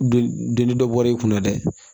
Donni dɔ bɔra i kunna dɛ